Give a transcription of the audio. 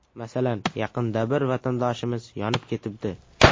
Masalan, yaqinda bir vatandoshimiz yonib ketibdi.